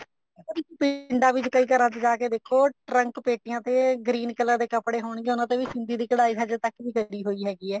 ਤੇ ਪਿੰਡਾਂ ਵਿੱਚ ਕਈ ਘਰਾਂ ਵਿੱਚ ਜਾ ਕੇ ਦੇਖੋ ਟਰੰਕ ਪੇਟੀਆਂ ਤੇ green color ਦੇ ਕੱਪੜੇ ਹੋਣਗੇ ਉਹਨਾ ਤੇ ਵੀ ਕਢਾਈ ਹਜੇ ਤੱਕ ਵੀ ਲੱਗੀ ਹੋਈ ਹੈਗੀ ਹੈ